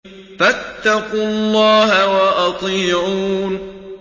فَاتَّقُوا اللَّهَ وَأَطِيعُونِ